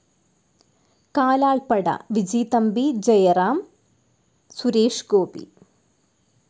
Kalalppada Viji Thampi Jayaram, Suresh Gopi